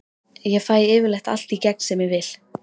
Ég fæ yfirleitt allt í gegn sem ég vil.